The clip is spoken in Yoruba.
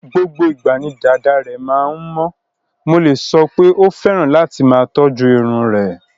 Gbogbo ìgbà ni dàda rẹ̀ máa ń mọ́, mo lè sọ pé ó fẹ́ràn láti máa tọ́jú irun rẹ̀.